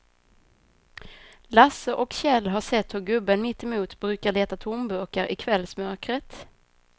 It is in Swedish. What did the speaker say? Lasse och Kjell har sett hur gubben mittemot brukar leta tomburkar i kvällsmörkret.